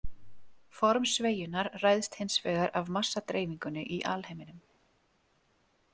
Form sveigjunnar ræðst hins vegar af massadreifingunni í alheiminum.